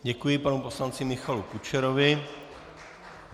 Děkuji panu poslanci Michalu Kučerovi.